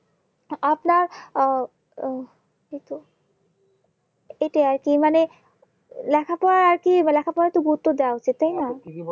আপনার আহ উম এইতো এইটা আরকি মানে লেখাপড়ার আরকি লেখাপড়াটা গুরুত্ব দেওয়া উচিত তাই না